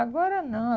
Agora, não.